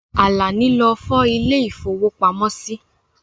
Àlàní lọ fọ̀ ilè ìfówópamọ́ sí.